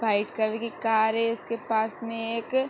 white colour की car है उसके पास में एक --